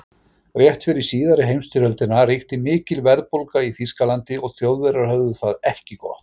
Rétt fyrir síðari heimsstyrjöldina ríkti mikil verðbólga í Þýskalandi og Þjóðverjar höfðu það ekki gott.